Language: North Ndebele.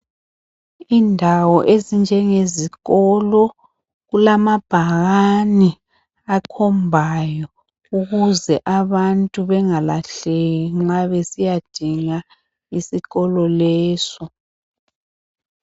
Indawo ezinjenge izikolo kulama bhakani akhombayo ukuze abantu bengalahleki nxa besiyadinga isikolo leso.